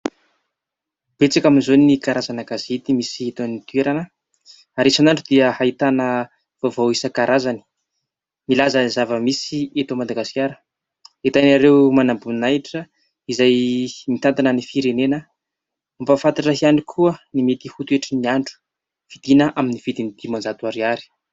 Betsaka amin'izao ny karazana gazety misy eto an-toerana ary isan'andro dia ahitana vaovao isan-karazany milaza zava-misy eto Madagasikara ahitana ireo manam-boninahitra izay mitantana ny firenena, mampahafantatra ihany koa ny mety ho toetry ny andro, vidiana amin'ny vidiny dimanjato ariary.